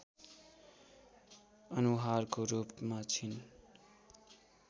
अनुहारको रूपमा छिन्